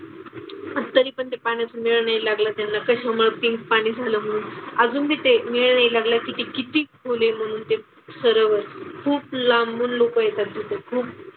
अन तरीपण त्या पाण्याचा मेळ नाही लागला त्यांना. कशामुळं पिंक पाणी झालं म्हणून. अजून तिथे मेळ नाही लागलाय की ते किती खोल आहे म्हणून ते सरोवर. खूप लांबून लोकं येतात तिथे खूप.